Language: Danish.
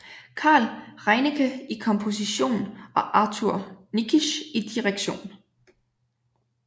Carl Reinecke i komposition og Arthur Nikisch i direktion